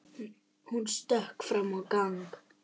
Hún stökk fram í gang.